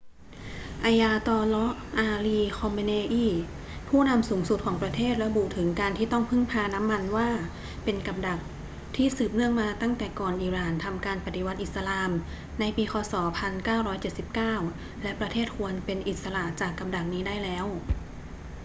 ayatollah ali khamenei ผู้นำสูงสุดของประเทศระบุถึงการที่ต้องพึ่งพาน้ำมันว่าเป็น กับดัก ที่สืบเนื่องมาตั้งแต่ก่อนอิหร่านทำการปฏิวัติอิสลามในปีค ศ. 1979 และประเทศควรเป็นอิสระจากกับดักนี้ได้แล้ว